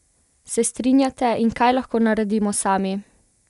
Se strinjate in kaj lahko naredimo sami?